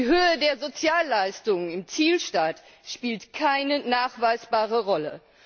Die Höhe der Sozialleistungen im Zielstaat spielt keine nachweisbare Rolle.